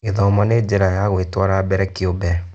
Gĩthomo nĩ njĩra ya gwĩtara mbere kĩũmbe.